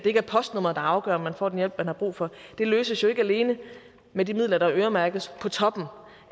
ikke er postnummeret der afgør om man får den hjælp man har brug for løses jo ikke alene med de midler der øremærkes på toppen